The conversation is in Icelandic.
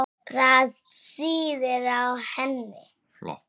Það sýður á henni.